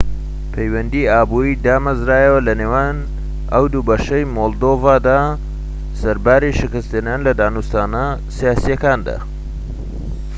پەیوەندیی ئابوریی دامەزرایەوە لەنێوان ئەو دووبەشەی مۆلدۆڤادا سەرباری شکستهێنان لە دانوستانە سیاسییەکاندا